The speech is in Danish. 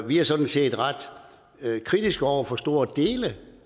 vi er sådan set ret kritiske over for store dele